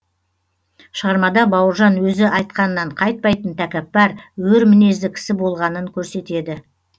шығармада бауыржан өзі айтқанынан қайтпайтын тәкаппар өр мінезді кісі болғанынын көрсетеді